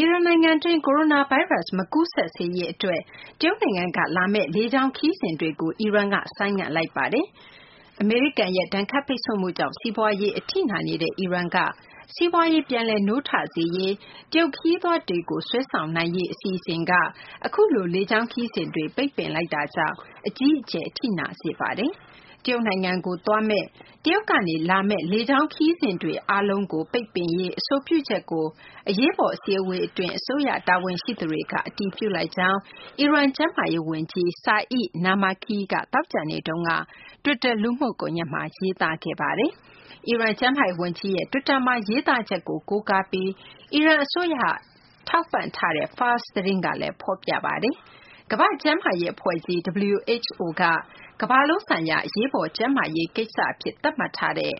ီရန်နိုင်ငံတွင်း ကိုရိုနာဗိုင်းရပ်စ် မကူးစက်စေရေးအတွက် တရုတ်နိုင်ငံက လာမယ့်လေကြောင်း ခရီးစဉ်တွေကို အီရန်က ဆိုင်းငံ့ထားလိုက်ပါတယ်။ အမေရိကန်ရဲ့ ဒဏ်ခတ်ပိတ်ဆို့မှုကြောင့် စီးပွားရေး အထိနာနေတဲ့ အီရန်က စီးပွားရေး ပြန်လည်နိုးထစေရေး တရုတ်ခရီးသွားတွေကို ဆွဲဆောင်နိုင်ရေး အစီအစဉ်က အခုလို လေကြောင်းခရီးစဉ်တွေ ဆိုင်းငံ့လိုက်တာကြောင့် အကြီးအကျယ် အထိနာစေပါတယ်။ တရုတ်နိုင်ငံကို သွားမယ့်၊ တရုတ်ကနေ လာမယ့် လေကြောင်းခရီးစဉ်တွေ အားလုံးကို ဆိုင်းငံ့ရေး အဆိုပြုချက်ကို အရေးပေါ် အစည်းအဝေးအတွင်း အစိုးရ တာဝန်ရှိသူတွေက အတည်ပြုလိုက်ကြောင်း အီရန် ကျန်းမာရေးဝန်ကြီး Saeed Namaki က သောကြာနေ့တုန်းက တွစ်တာ လူမှုကွန်ရက်မှာ ရေးသားခဲ့ပါတယ်။ အီရန် ကျန်းမာရေးဝန်ကြီးရဲ့ တွစ်တာမှာ ရေးသားချက်ကို ကိုးကားပြီး အီရန်အစိုးရ ပံ့ပိုးထားတဲ့ Fars သတင်းကလည်း ဖော်ပြပါတယ်။ ကမ္ဘာ့ကျန်းမာရေးအဖွဲ့ကြီး (WHO) က ကမ္ဘာလုံးဆိုင်ရာ အရေးပေါ် ကျန်းမာရေး ကိစ္စအဖြစ် သတ်မှတ်ထားတဲ့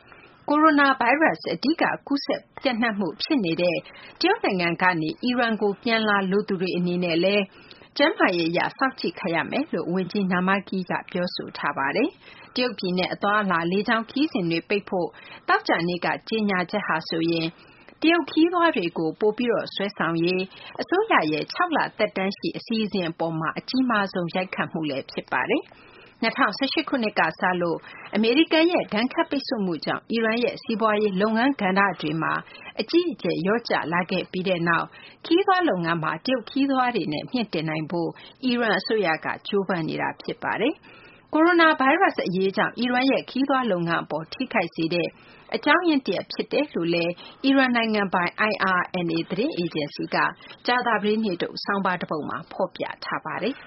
ကိုရိုနာဗိုင်းရပ်စ် အဓိက ကူးစက်ပျံ့နှံ့မှု ဖြစ်နေတဲ့ တရုတ်နိုင်ငံကနေ အီရန်ကို ပြန်လာလိုသူတွေ အနေနဲ့လည်း ကျန်းမာရေးအရ စောင့်ကြည့်ခံရမယ်လို့လည်း ဝန်ကြီး Namaki က ပြောဆိုထားပါတယ်။ တရုတ်ပြည်နဲ့ အသွားအလာ လေကြောင်းခရီးစဉ်တွေ ဆိုင်းငံ့ဖို့ သောကြာနေ့က ကြေညာချက်ဟာဆိုရင် တရုတ်ခရီးသွားတွေကို ပိုပြီး ဆွဲဆောင်ရေး အစိုးရရဲ့ ၆ လ သက်တမ်းရှိ အစီအစဉ်အပေါ်မှာ အကြီးမားဆုံး ရိုက်ခတ်မှု ဖြစ်ပါတယ်။ အမေရိကန် လေကြောင်းလိုင်းတွေ တရုတ်ခရီးစဉ် ရပ်ဆိုင်းသတင်း ဖတ်ရှုနိုင်ပါတယ်။ ၂၀၁၈ ခုနှစ်က စလို့ အမေရိကန်ရဲ့ ဒဏ်ခတ်ပိတ်ဆို့မှုကြောင့် အီရန်ရဲ့ စီးပွားရေး လုပ်ငန်းကဏ္ဍတွေမှာ အကြီးအကျယ် လျော့ကျလာခဲ့ပြီးနောက် ခရီးသွားလုပ်ငန်းမှာ တရုတ်ခရီးသွားတွေနဲ့ မြှင့်တင်နိုင်ဖို့ အစိုးရက ကြိုးပမ်းနေတာ ဖြစ်ပါတယ်။ ကိုရိုနာဗိုင်းရပ်စ် အရေးကြောင့် အီရန်ရဲ့ ခရီးသွားလုပ်ငန်းအပေါ် ထိခိုက်စေတဲ့ အကြောင်းရင်းတရပ် ဖြစ်စေတယ်လို့ အီရန်နိုင်ငံပိုင် IRNA သတင်းအေဂျင်စီကလည်း ကြာသပတေးနေ့ထုတ် ဆောင်းပါးတပုဒ်မှာ ဖော်ပြထားပါတယ်။